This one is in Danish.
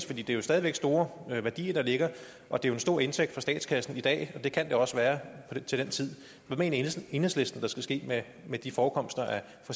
det er jo stadig væk store værdier der ligger og det er en stor indtægt for statskassen i dag og det kan det også være til den tid hvad mener enhedslisten der skal ske med de forekomster